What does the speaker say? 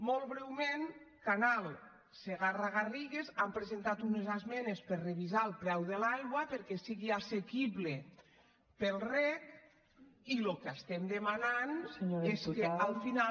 molt breument canal segarra garrigues han presentat unes esmenes per a revisar el preu de l’aigua perquè sigui assequible per al reg i el que estem demanant és que al final